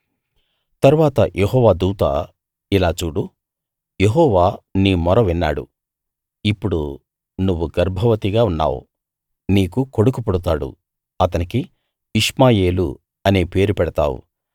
తరువాత యెహోవా దూత ఇలా చూడు యెహోవా నీ మొర విన్నాడు ఇప్పుడు నువ్వు గర్భవతిగా ఉన్నావు నీకు కొడుకు పుడతాడు అతనికి ఇష్మాయేలు అనే పేరు పెడతావు